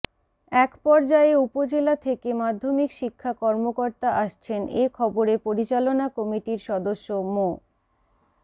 এক পর্যায়ে উপজেলা থেকে মাধ্যমিক শিক্ষা কর্মকর্তা আসছেন এ খবরে পরিচালনা কমিটির সদস্য মো